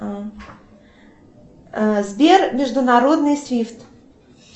сбер международный свифт